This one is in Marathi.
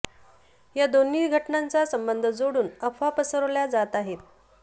या दोन्ही घटनांचा संबंध जोडून अफवा पसरवल्या जात आहेत